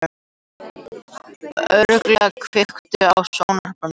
Örlygur, kveiktu á sjónvarpinu.